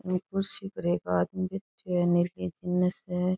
कुर्सी पर एक आदमी बैठे है --